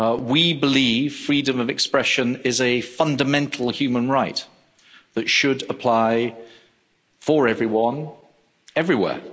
We believe freedom of expression is a fundamental human right that should apply for everyone, everywhere.